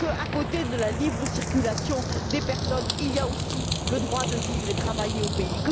Qu'outre la libre circulation des personnes, existe aussi le droit de vivre et travailler au pays?